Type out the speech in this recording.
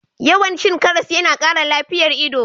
Yawan cin karas yana kara lafiyan ido.